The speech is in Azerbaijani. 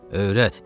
Öyrət.